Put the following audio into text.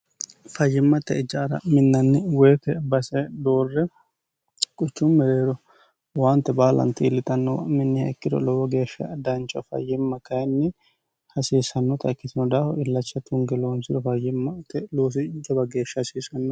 fayyimmatte ijaara yinnanni woyiite base doorre quchu mereero waante baalan tiillixannowa minni heekkiro lowo geeshsha daancho fayyimma kayinni hasiisannota ikkitino daahu illacha tunge loonsiro fayyimmate loosi jaba geeshsha hasiisannoo